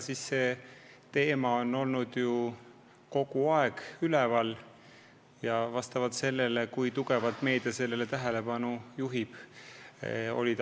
See teema on ju kogu aeg üleval olnud, sest meedia on sellele tugevalt tähelepanu juhtinud.